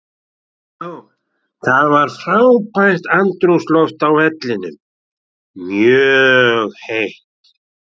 Það var frábært andrúmsloft á vellinum, mjög heitt.